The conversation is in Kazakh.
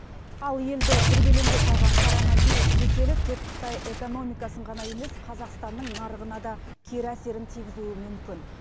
ал елді дүрбелеңге салған короновирус кеселі тек қытай экономикасын ғана емес қазақстанның нарығына да кері әсерін тигізуі мүмкін